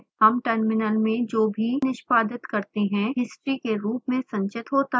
हम टर्मिनल में जो भी निष्पादित करते हैं हिस्ट्री के रूप में संचित होता है